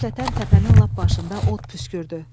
Qəflətən təpənin lap başında od püskürdü.